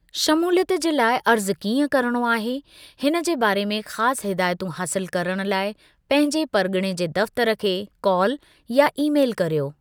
शमूलियतु जे लाइ अर्ज़ु कींअ करिणो आहे, हिन जे बारे में ख़ासि हिदायतूं हासिलु करणु लाइ पंहिंजे परिगि॒णे जे दफ़्तरु खे कॉल या ईमेल करियो।